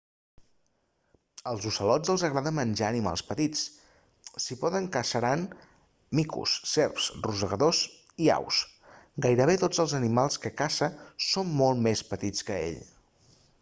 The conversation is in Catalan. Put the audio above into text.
als ocelots els agrada menjar animals petits si poden caçaran micos serps rosegadors i aus gairebé tots els animals que caça són molt més petits que ell